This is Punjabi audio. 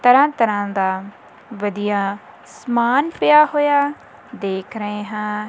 ਤਰ੍ਹਾਂ ਤਰ੍ਹਾਂ ਦਾ ਵਧੀਆ ਸਮਾਨ ਪਿਆ ਹੋਇਆ ਦੇਖ ਰਹੇ ਹਾਂ।